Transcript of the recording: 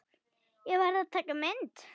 Ég varð að taka mynd.